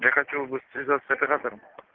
я хотел бы связаться с оператором